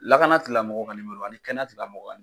Lakana tigilamɔgɔw ka kɛnɛya tigilamɔgɔw